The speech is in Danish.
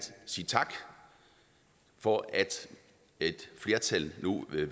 sige tak for at et flertal nu vælger